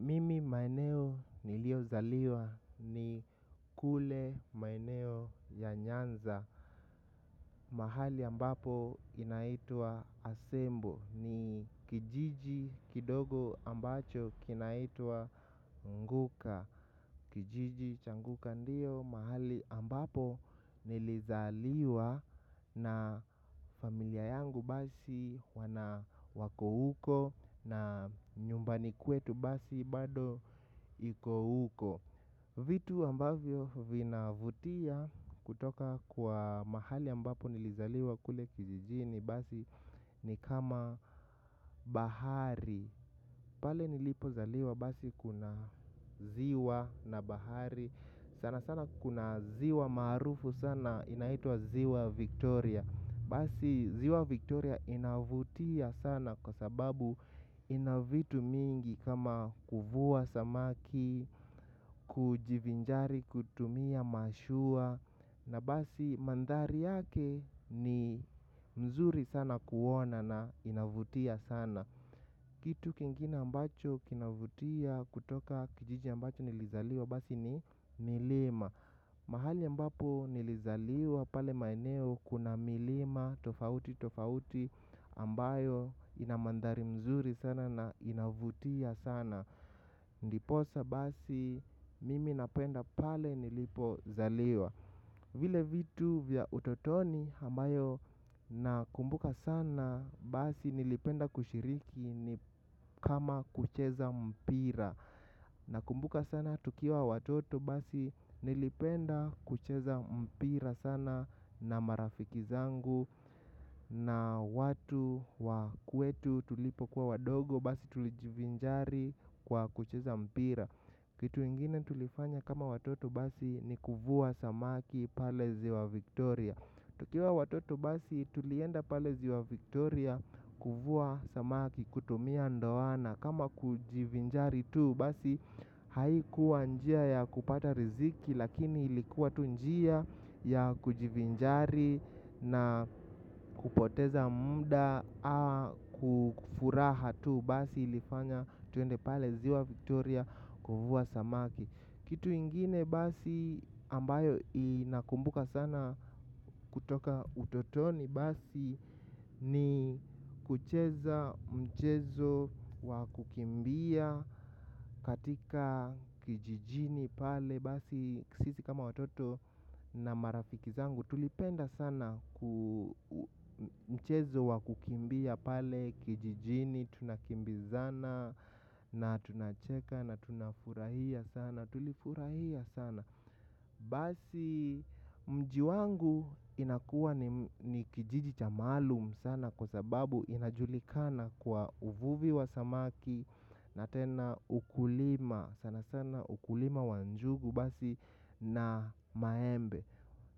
Mimi maeneo niliyozaliwa ni kule maeneo ya nyanza. Mahali ambapo inaitwa asembo. Ni kijiji kidogo ambacho kinaitwa nguka. Kijiji cha Nguka ndio mahali ambapo nilizaliwa na familia yangu basi, wana wako huko na nyumbani kwetu basi bado iko huko. Vitu ambavyo vinavutia kutoka kwa mahali ambapo nilizaliwa kule kijijini basi ni kama bahari. Pale nilipozaliwa basi kuna ziwa na bahari. Sana sana kuna ziwa maarufu sana inaitwa ziwa Victoria. Basi ziwa Victoria inavutia sana kwa sababu ina vitu mingi kama kuvua samaki, kujivinjari, kutumia mashua. Na basi mandhari yake ni mzuri sana kuona na inavutia sana. Kitu kingina ambacho kinavutia kutoka kijiji ambacho nilizaliwa basi ni milima mahali ambapo nlizaliwa pale maeneo, kuna milima tofauti tofauti ambayo ina mandhari mzuri sana na inavutia sana. Ndiposa basi mimi napenda pale nilipozaliwa. Vile vitu vya utotoni, ambayo nakumbuka sana basi nilipenda kushiriki ni kama, kucheza mpira. Na kumbuka sana tukiwa watoto basi nilipenda kucheza mpira sana na marafiki zangu na watu wa kwetu tulipokuwa wadogo basi tulijivinjari kwa kucheza mpira. Kitu ingine tulifanya kama watoto basi ni kuvua samaki pale ziwa Victoria. Tukiwa watoto basi tulienda pale ziwa Victoria kuvua samaki kutumia ndowana kama kujivinjari tu basi haikuwa njia ya kupata riziki lakini ilikuwa tu njia ya kujivinjari na kupoteza muda kufuraha tu basi ilifanya tuende pale ziwa Victoria kuvua samaki. Kitu ingine basi ambayo inakumbuka sana kutoka utotoni basi ni kucheza mchezo wa kukimbia katika kijijini pale basi, sisi kama watoto na marafiki zangu tulipenda sana mchezo wa kukimbia pale kijijini, tunakimbizana na tunacheka na tunafurahia sana. Tulifurahia sana. Basi mji wangu inakuwa ni kijiji cha maalum sana kwa sababu inajulikana kwa uvuvi wa samaki. Na tena ukulima sana sana ukulima wa njugu basi na maembe.